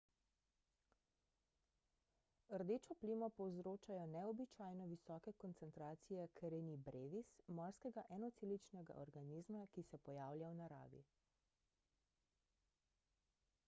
rdečo plimo povzročajo neobičajno visoke koncentracije karenie brevis morskega enoceličnega organizma ki se pojavlja v naravi